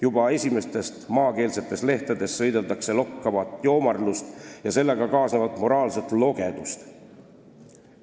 Juba esimestes maakeelsetes lehtedes sõideldakse lokkavat joomarlust ja sellega kaasnevat moraalset logedust.